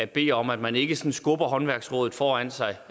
bede om at man ikke sådan skubber håndværksrådet foran sig